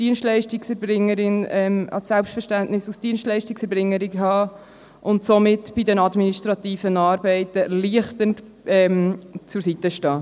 Sie sollte ein Selbstverständnis als Dienstleistungserbringerin aufweisen und somit bei den administrativen Arbeiten erleichternd zur Seite stehen.